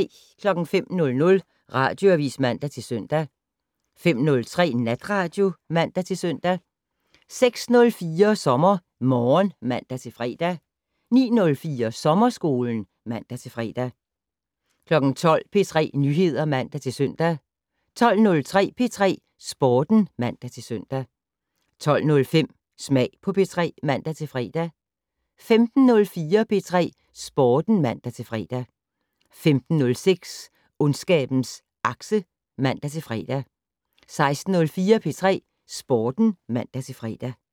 05:00: Radioavis (man-søn) 05:03: Natradio (man-søn) 06:04: SommerMorgen (man-fre) 09:04: Sommerskolen (man-fre) 12:00: P3 Nyheder (man-søn) 12:03: P3 Sporten (man-søn) 12:05: Smag på P3 (man-fre) 15:04: P3 Sporten (man-fre) 15:06: Ondskabens Akse (man-fre) 16:04: P3 Sporten (man-fre)